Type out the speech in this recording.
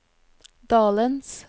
dalens